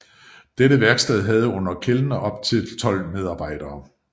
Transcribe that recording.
Dette værksted havde under Kellner op til 12 medarbejdere